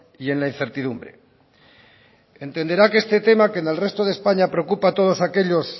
y en la incertidumbre entenderá que este tema que en el resto de españa preocupa a todos aquellos